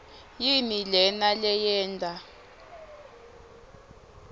yini lena leyenta